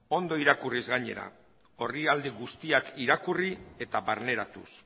ondo irakurriz gainera orrialde guztiak irakurri eta barneratuz